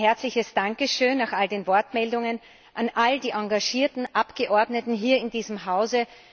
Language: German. Mein herzliches Dankeschön nach all den Wortmeldungen an all die engagierten Abgeordneten in diesem Hause.